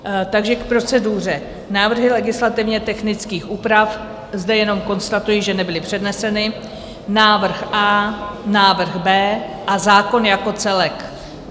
Takže k proceduře: návrhy legislativně technických úprav, zde jenom konstatuji, že nebyly předneseny, návrh A, návrh B a zákon jako celek.